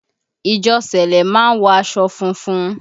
Ìjọ sẹlẹ má ń wọ aṣọ funfun